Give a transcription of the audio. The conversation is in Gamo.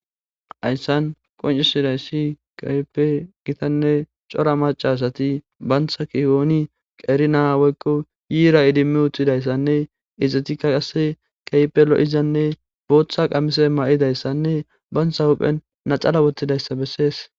Hayssan qoncisidayssi kaype gitanne cora macasati bantha kihooni qeri naa woykko yiira idimmi uttidayssanne izxetikka qase keype lo'izanne booththa qamise ma'idayssanne bantha huphen nacala wottidayssa bessees.